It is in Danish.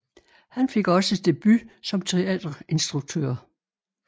Han fik også debut som teaterinstruktør